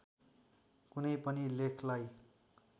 कुनै पनि लेखलाई